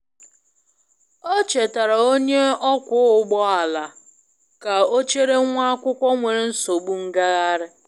O chetaara onye ọkwọ ụgbọ ala ka ọ chere nwa akwụkwọ nwere nsogbu ngagharị.